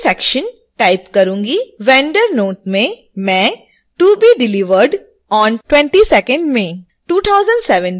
vendor note में मैं to be delivered on 22 may 2017 type करुँगी